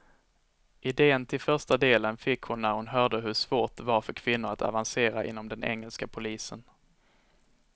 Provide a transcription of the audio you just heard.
Idén till första delen fick hon när hon hörde hur svårt det var för kvinnor att avancera inom den engelska polisen.